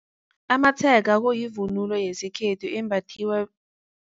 Amatshega kuyivunulo yesikhethu embathiwa.